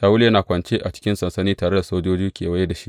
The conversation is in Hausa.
Shawulu yana kwance a cikin sansani tare da sojoji kewaye da shi.